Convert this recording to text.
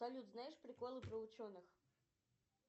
салют знаешь приколы про ученых